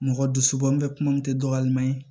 Mɔgɔ dusubɔ n bɛ kuma min tɛ dɔ wɛrɛ ma ye